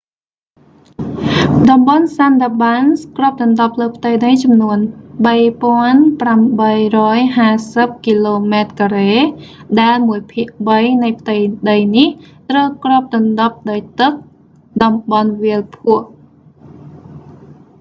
តំបន់ sundarbans គ្រប់​ដណ្ដប់​លើ​ផ្ទៃ​ដី​ចំនួន 3,850 km² ដែលមួយ​ភាគ​បី​នៃ​​ផ្ទៃ​ដី​នេះ​ ត្រូវ​គ្រប​ដណ្ដប់​ដោយ​ទឹក​/តំបន់​វាល​ភក់​។